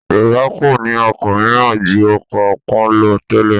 Yorùbá kò ní ọkọ̀ mìíràn ju ọkọ̀ ọpọ́n lọ tẹ́lẹ̀